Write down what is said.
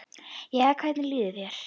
Jæja, hvernig líður þér?